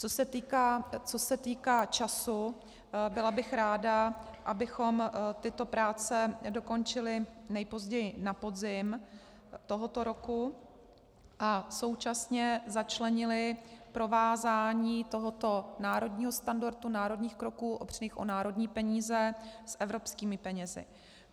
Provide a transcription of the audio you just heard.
Co se týká času, byla bych ráda, abychom tyto práce dokončili nejpozději na podzim tohoto roku a současně začlenili provázání tohoto národního standardu, národních kroků opřených o národní peníze, s evropskými penězi.